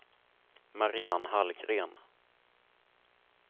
Mariann Hallgren